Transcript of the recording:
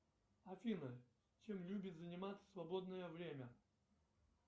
афина чем любит заниматься в свободное время